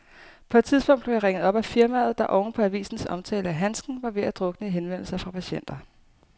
På et tidspunkt blev jeg ringet op af firmaet, der oven på avisens omtale af handsken var ved at drukne i henvendelser fra patienter.